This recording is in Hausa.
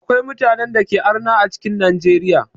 Akwai mutanen dake arna a cikin Najeriya.